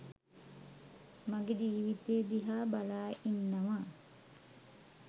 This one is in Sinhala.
මගෙ ජීවිතය දිහා බලා ඉන්නව.